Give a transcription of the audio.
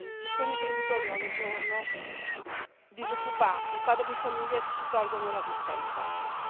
Ci sono imprenditori ogni giorno disoccupati, padri di famiglia che si tolgono la vita, in Italia.